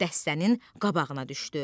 Dəstənin qabağına düşdü.